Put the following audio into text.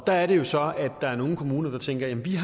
der er det jo så at der er nogle kommuner der tænker at vi